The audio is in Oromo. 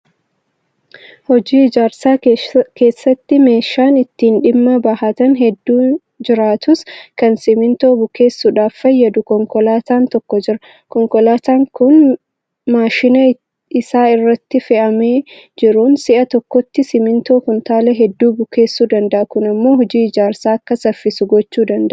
Hojii ijaarsaa keessatti meeshaan ittiin dhimma bahatan hedduun jiraatus. Kan simmintoo bukeessuudhaaf fayyadu konkolaataan tokko jira. Konkolaataan kun maashina isa irratti fe'amee jiruun si'a tokkotti simmintoo kumtaala hedduu bukeedsuu danda'a. Kun immoo hojiin ijaarsaa akka saffisu gochuu danda'a.